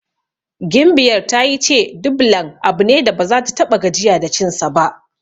Gimbiyar ta yi ce Dublan abu ne da baza ta ta6a gajiya da cinsa ba.